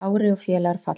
Kári og félagar fallnir